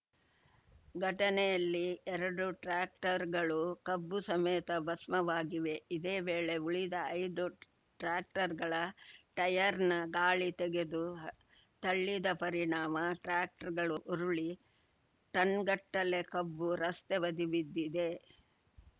ಘಟನೆಯಲ್ಲಿ ಎರಡೂ ಟ್ರ್ಯಾಕ್ಟರ್‌ಗಳು ಕಬ್ಬು ಸಮೇತ ಭಸ್ಮವಾಗಿವೆ ಇದೇ ವೇಳೆ ಉಳಿದ ಐದು ಟ್ರ್ಯಾಕ್ಟರ್‌ಗಳ ಟಯರ್‌ನ ಗಾಳಿ ತೆಗೆದು ತಳ್ಳಿದ ಪರಿಣಾಮ ಟ್ರ್ಯಾಕ್ಟರ್‌ಗಳು ಉರುಳಿ ಟನ್‌ಗಟ್ಟಲೆ ಕಬ್ಬು ರಸ್ತೆ ಬದಿ ಬಿದ್ದಿದೆ